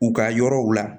U ka yɔrɔw la